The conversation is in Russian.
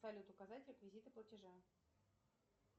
салют указать реквизиты платежа